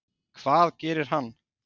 Hvað gerir hann?